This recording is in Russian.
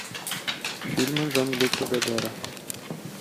фильмы жан люка годара